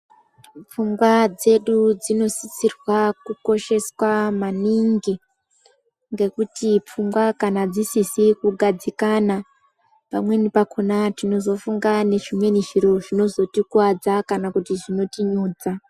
Pfungwa dzedu dzino sisirwa kukoshewa maningi ngekuti pfungwa kana dzisizi kugadzikana pamweni pakona tinozo funga ne zvimweni zviro zvinozo tikwadza kana kuti zvinoto nyudza.